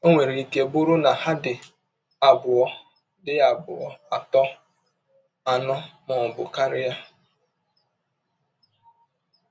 Ọ nwere ike bụrụ na ha dị abụọ, dị abụọ, atọ, anọ, ma ọ bụ karịa.